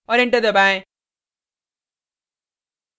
और enter दबाएँ